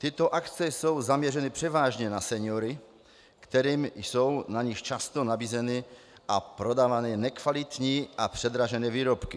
Tyto akce jsou zaměřeny převážně na seniory, kterým jsou na nich často nabízeny a prodávány nekvalitní a předražené výrobky.